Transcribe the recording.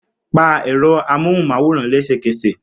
Pa ẹ̀rọ amóhùnmáwòrán lẹ́sẹ̀kẹsẹ̀!